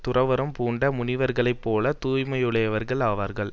துறவறம் பூண்ட முனிவர்களைப் போல தூய்மையுடையவர்கள் ஆவார்கள்